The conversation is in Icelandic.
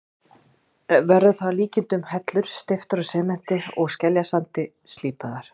Verður það að líkindum hellur steyptar úr sementi og skeljasandi, slípaðar.